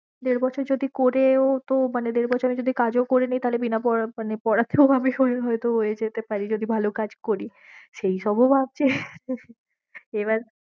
দেড় বছর যদি করেও তো মানে দেড় বছরে যদি কাজও করে নি তাহলে বিনা পড়া~ মানে পড়াতেও হয়তো হয়ে যেতে পারে যদি ভালো কাজ করি সেই সব ও ভাবছি এবার